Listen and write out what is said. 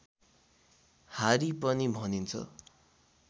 हारी पनि भनिन्छ